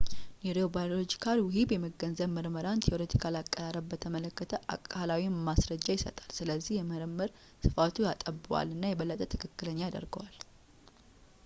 ኒውሮባዮሎጂካል ውሂብ የመገንዘብ ምርመራን ቲዎሬቲካል አቀራረብ በተመለከተ አካላዊ ማስረጃ ይሰጣል ስለዚህ የምርምር ስፋቱን ያጠበዋል እና የበለጠ ትክክለኛ ያደርገዋል